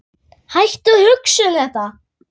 Hættu að hugsa um þetta.